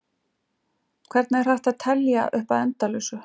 Hvernig er hægt að telja upp að endalausu?